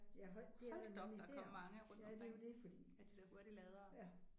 Ja det er der nemlig her ja det er jo det fordi ja